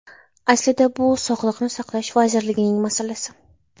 Aslida bu Sog‘liqni saqlash vazirligining masalasi.